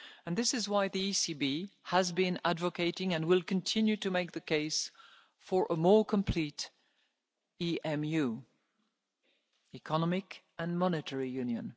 citizens. This is why the ECB has been advocating and will continue to make the case for a more complete EMU Economic and Monetary